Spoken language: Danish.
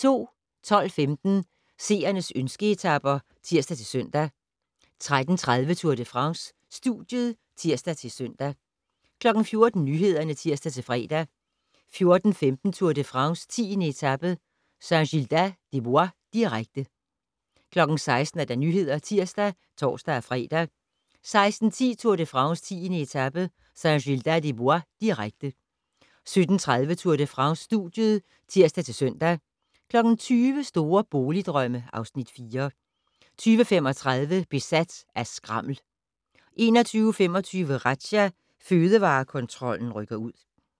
12:15: Seernes ønske-etaper (tir-søn) 13:30: Tour de France: Studiet (tir-søn) 14:00: Nyhederne (tir-fre) 14:15: Tour de France: 10. etape - Saint-Gildas-des-Bois, direkte 16:00: Nyhederne (tir og tor-fre) 16:10: Tour de France: 10. etape - Saint-Gildas-des-Bois, direkte 17:30: Tour de France: Studiet (tir-søn) 20:00: Store boligdrømme (Afs. 4) 20:35: Besat af skrammel 21:25: Razzia - Fødevarekontrollen rykker ud